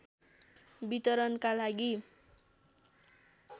वितरणका लागि